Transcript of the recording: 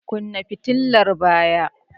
Kunna fitilar baya!